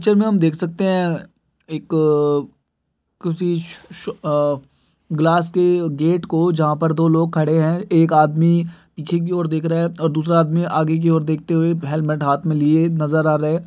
Picture में हम देख सकते हैं एक अ किसी श अअअ ग्लास क गेट को जहां पर दो लोग खड़े है। एक आदमी पीछे कि ओर देख रहा है और दूसरा आदमी आगे की ओर देखते हुए हेलमेट हाथ मे लिए नज़र आ रहा है।